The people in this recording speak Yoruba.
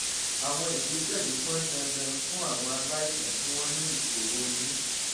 àwọn ìgbésẹ yìí pọn dandan fún àwọn aláìsàn tí wọn ní ìṣòro eyín